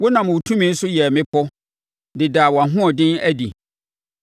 Wonam wo tumi so yɛɛ mmepɔ de daa wʼahoɔden adi.